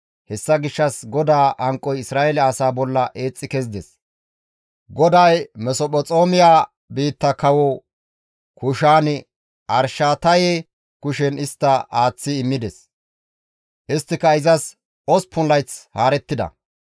Hessa gishshas GODAA hanqoy Isra7eele asaa bolla eexxi kezides; GODAY Masophexoomya biitta kawo Kushaan-Arishataye kushen istta aaththi immides; isttika izas osppun layth haarettida.